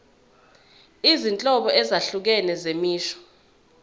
izinhlobo ezahlukene zemisho